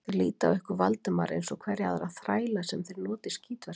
Þeir líta á ykkur Valdimar eins og hverja aðra þræla, sem þeir nota í skítverkin.